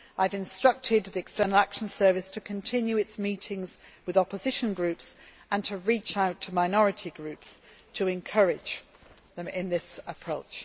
I have instructed the External Action Service to continue its meetings with opposition groups and to reach out to minority groups to encourage them in this approach.